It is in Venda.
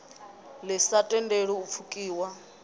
ḓi sa tendeli u pfukiwa